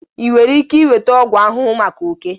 Ị nwere ike nweta ọgwụ ahụhụ maka oke?